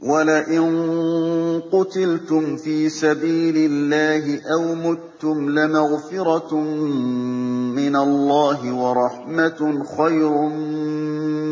وَلَئِن قُتِلْتُمْ فِي سَبِيلِ اللَّهِ أَوْ مُتُّمْ لَمَغْفِرَةٌ مِّنَ اللَّهِ وَرَحْمَةٌ خَيْرٌ